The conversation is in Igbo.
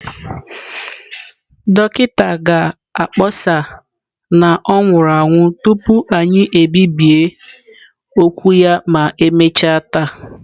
Dọkịta ga-akpọsa na ọ nwụrụ anwụ tupu anyị ebibie okwu ya ma emechaa taa.